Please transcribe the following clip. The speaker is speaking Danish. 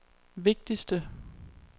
vigtigste